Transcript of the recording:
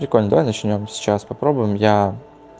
прикольно давай начнём сейчас попробуем я